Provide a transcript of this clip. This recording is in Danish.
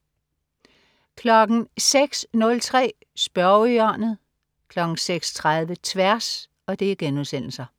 06.03 Spørgehjørnet* 06.30 Tværs*